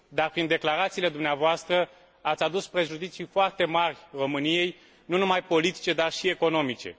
Prin declarațiile dumneavoastră, ați adus prejudicii foarte mari României, nu numai politice, dar și economice.